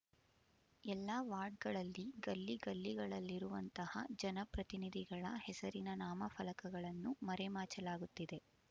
ಎಲ್ಲಾ ವಾರ್ಡ್‌ಗಳಲ್ಲಿ ಗಲ್ಲಿ ಗಲ್ಲಿ ಗಳಲ್ಲಿರುವಂತಹ ಜನಪ್ರತಿನಿಧಿಗಳ ಹೆಸರಿನ ನಾಮ ಫಲಕಗಳನ್ನು ಮರೆ ಮಾಚಲಾಗುತ್ತಿದೆ